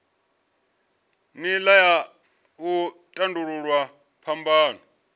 nila ya u tandululwa phambano